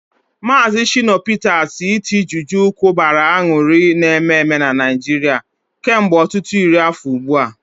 Maazị Shina Peter's iti juju kụbara aṅụrị n'ememe na Naịjirịa kemgbe ọtụtụ iri afọ ugbu a.